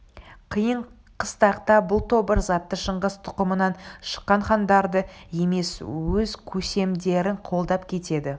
қиын-қыстақта бұл тобыр заты шыңғыс тұқымынан шыққан хандарды емес өз көсемдерін қолдап кетеді